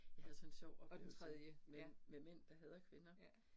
Jeg havde sådan en sjov oplevelse med med Mænd der hader kvinder